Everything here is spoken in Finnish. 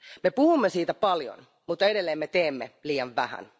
Me puhumme siitä paljon, mutta edelleen me teemme liian vähän.